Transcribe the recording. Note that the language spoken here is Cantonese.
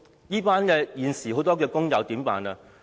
那麼現時的工友怎麼辦呢？